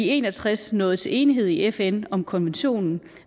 en og tres nåede til enighed i fn om konventionen